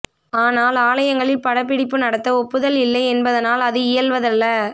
ஆனால் ஆலயங்களில் படப்பிடிப்பு நடத்த ஒப்புதல் இல்லை என்பதனால் அது இயல்வதல்ல